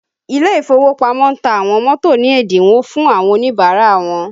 Ile ìfowópamọ́ ta àwọn mọ́tò ní ẹ́dínwó fún àwọn Oníbàárà wọn